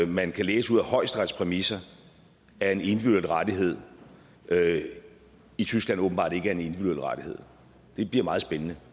man kan læse ud af højesterets præmisser er en individuel rettighed i tyskland åbenbart ikke er en individuel rettighed det bliver meget spændende